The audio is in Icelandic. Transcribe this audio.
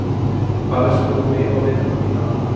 Hvað veist þú um mig og vinnuna mína amma?